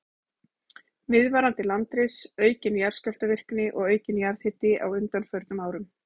Viðvarandi landris, aukin jarðskjálftavirkni og aukinn jarðhiti á undanförnum árum.